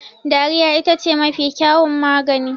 Dariya ita ce mafi kyawun magani